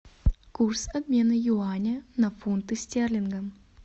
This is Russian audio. курс обмена юаня на фунты стерлинга